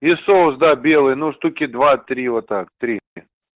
и соус да белый ну штуки два-три вот так три